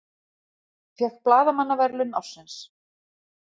Fékk blaðamannaverðlaun ársins